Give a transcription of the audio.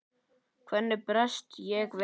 Hvernig bregst ég við?